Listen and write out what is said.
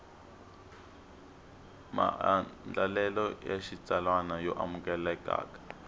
maandlalelo ya xitsalwana yo amukelekaka